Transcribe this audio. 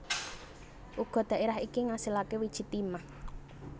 Uga dhaerah iki ngasilake wiji timah